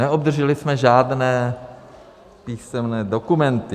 Neobdrželi jsme žádné písemné dokumenty.